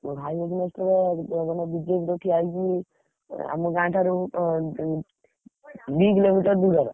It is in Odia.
ମୋ ଭାଇ against ରେ ଜଣେ BJP ରୁ ଠିଆ ହେଇଛି ଏଁ ଆମ ଗାଁଠାରୁ ଉଁ, ଦି କିଲୋମିଟର ଦୂରର।